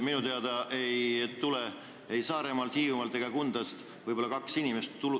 Minu teada ei tule ei Saaremaalt, Hiiumaalt ega Kundast siia inimesi üle.